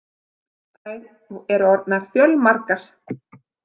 Þær eru orðnar fjölmargar.